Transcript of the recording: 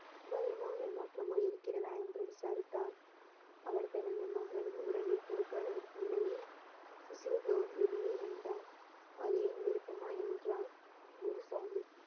பயமோ ஏமாற்றமோ இருக்கிறதா என்று விசாரித்தார் அவர் தனது மகளின் உறவை கொடுக்காத நிலையில் சிறிதும் வெளியே வந்தார் அது என் விருப்பமா என்றால் குரு சாஹிப்